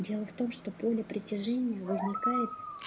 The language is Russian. дело в том что поле притяжения возникает